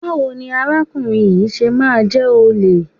Báwo ni arákùnrin yìí ṣe máa jẹ́ olè?